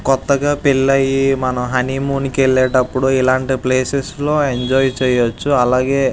కొత్తగా పెళ్లి అయి మనం హనీమూన్ కి వెళ్ళేటపుడు ఇలాంటి ప్లేసెస్ లో ఎంజాయ్ చేయచ్చు అలాగే --